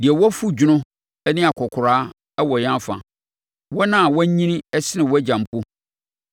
Deɛ wafu dwono ne akɔkoraa wɔ yɛn afa, wɔn a wɔanyini sene wʼagya mpo.